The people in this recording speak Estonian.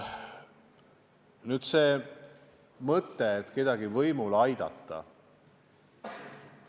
Nüüd aga mõttest, et ma püüan kedagi võimule aidata.